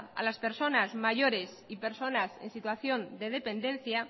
a las personas mayores y personas en situación de dependencia